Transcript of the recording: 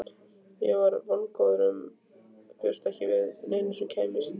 Ég var vongóður en bjóst svo sem ekki við neinu.